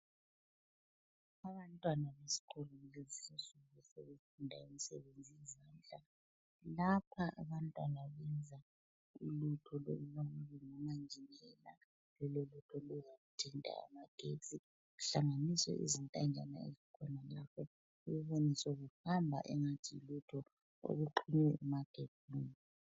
Abantwana bakulezinsiku sebefunda imisebenzi yezandla enjengothunga besebenzisa imitshina, bayafaka intambo ezimbili kuvele kutshutshe ugesi nxa sebebambasinile.